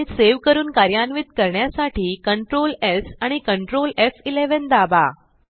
file save करून कार्यान्वित करण्यासाठी Ctrl स् आणि Ctrl एफ11 दाबा